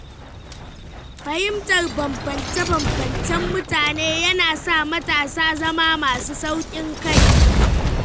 Fahimtar bambance-bambancen mutane yana sa matasa zama masu sauƙin kai.